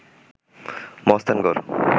Mahasthangarh